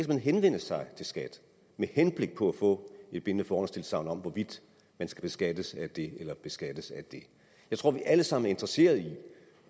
henvende sig til skat med henblik på at få et bindende forhåndstilsagn om hvorvidt man skal beskattes af det eller beskattes af det jeg tror at vi alle sammen er interesserede i